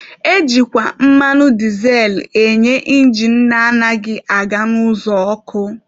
Ejikwa mmanụ dizel enye injin na-anaghị aga n'ụzọ ọkụ.